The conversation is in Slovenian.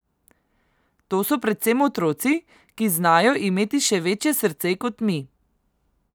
To so predvsem otroci, ki znajo imeti še večje srce kot mi.